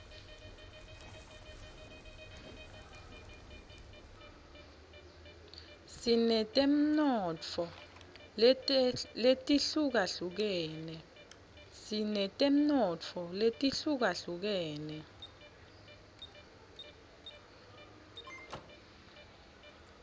sinetemnotfo letihlukahlukene